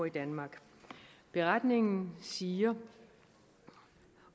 i danmark beretningen siger